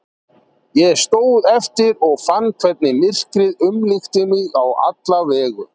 Ég stóð eftir og fann hvernig myrkrið umlukti mig á alla vegu.